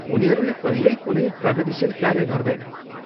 उनीहरूले कहिल्यै कुनै प्रगतिशील कार्य गर्दैनन्।